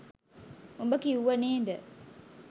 උඹ කිව්ව නේද